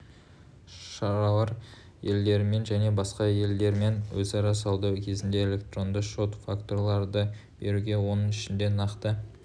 шаралар елдерімен және басқа да елдермен өзара сауда кезінде электронды шот-фактураларды беруге оның ішінде нақты